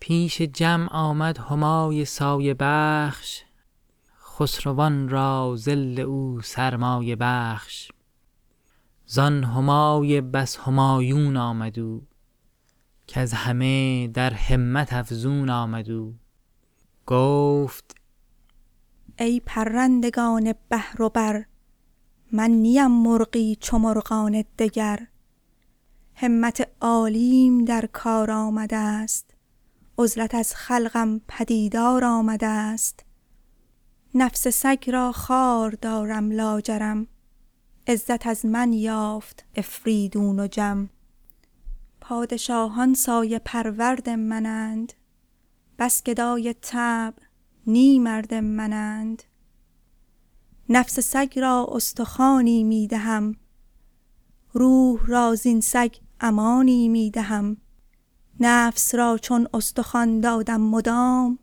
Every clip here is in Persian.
پیش جمع آمد همای سایه بخش خسروان را ظل او سرمایه بخش زان همای بس همایون آمد او کز همه در همت افزون آمد او گفت ای پرندگان بحر و بر من نیم مرغی چو مرغان دگر همت عالیم در کار آمدست عزلت از خلقم پدیدار آمدست نفس سگ را خوار دارم لاجرم عزت از من یافت آفریدون و جم پادشاهان سایه پرورد من اند بس گدای طبع نی مرد من اند نفس سگ را استخوانی می دهم روح را زین سگ امانی می دهم نفس را چون استخوان دادم مدام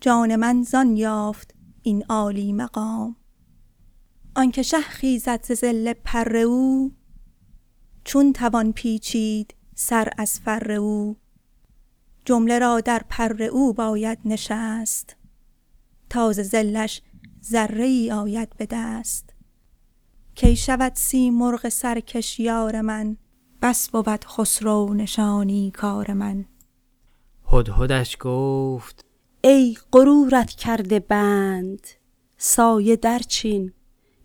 جان من زان یافت این عالی مقام آنک شه خیزد ز ظل پر او چون توان پیچید سر از فر او جمله را در پر او باید نشست تا ز ظلش ذره ای آید به دست کی شود سیمرغ سرکش یار من بس بود خسرو نشانی کار من هدهدش گفت ای غرورت کرده بند سایه درچین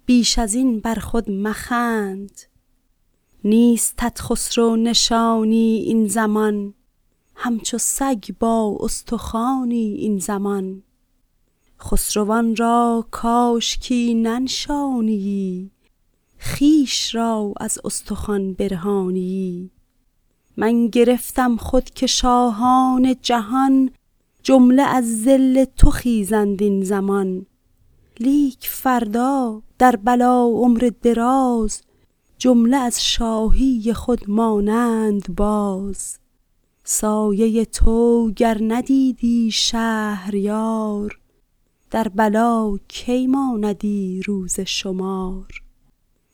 بیش از این برخود مخند نیستت خسرو نشانی این زمان همچو سگ با استخوانی این زمان خسروان را کاشکی ننشانیی خویش را از استخوان برهانیی من گرفتم خود که شاهان جهان جمله از ظل تو خیزند این زمان لیک فردا در بلا عمر دراز جمله از شاهی خود مانند باز سایه تو گر ندیدی شهریار در بلا کی ماندی روز شمار